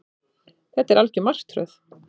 Þetta er algjör martröð